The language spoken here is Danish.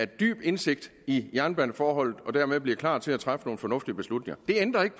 dybere indsigt i jernbaneforholdene og dermed bliver klar til at træffe nogle fornuftige beslutninger det ændrer ikke